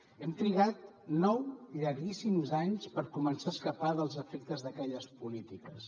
hem trigat nou llarguíssims anys per començar a escapar dels efectes d’aquelles polítiques